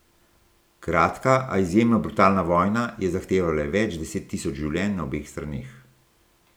Kratka, a izjemno brutalna vojna je zahtevala več deset tisoč življenj na obeh straneh.